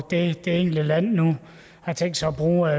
det enkelte land nu har tænkt sig at bruge